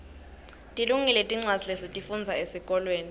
tilungile tincwadza lesitifundza esikolweni